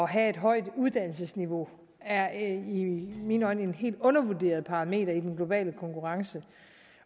have et højt uddannelsesniveau er en i mine øjne helt undervurderet parameter i den globale konkurrence